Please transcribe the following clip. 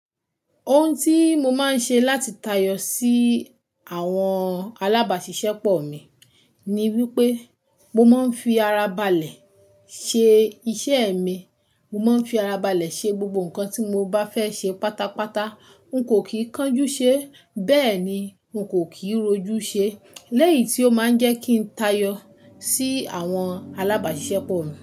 Ohun tí mo máa ń ṣe láti tayọ sí àwọn alábàṣiṣẹ́pọ̀ mi ni wípé mo máa ń fi ara balẹ̀ ṣe iṣẹ́ mi. Mo máa ń fi ara balẹ̀ ṣe gbogbo nǹkan tí mo bá fẹ́ ṣe pátápátá. N kò kì í kánjú ṣe, bẹ́ẹ̀ ni n kò kì í rojú ṣe. Lẹ́yìn tí ó máa ń jẹ́ kí n tayọ sí àwọn alábàṣiṣẹ́pọ̀ mi.